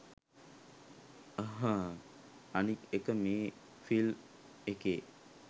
අහ්හ් අනිත් එක මේ ෆිල්ම් එකේ